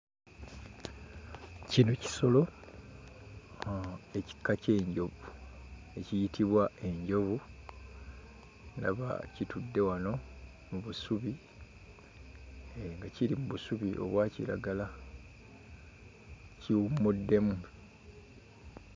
Kino kisolo uh ekika ky'enjovu ekiyitibwa enjovu ndaba kitudde wano mu busubi eeh nga kiri mu busubi obwa kiragala kiwummuddemu.